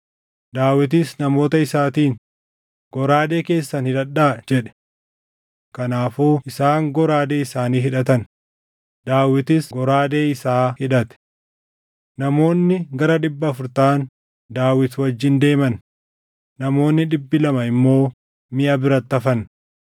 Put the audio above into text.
Daawitis namoota isaatiin, “Goraadee keessan hidhadhaa!” jedhe. Kanaafuu isaan goraadee isaanii hidhatan; Daawitis goraadee isaa hidhate. Namoonni gara dhibba afur taʼan Daawit wajjin deeman; namoonni dhibbi lama immoo miʼa biratti hafan.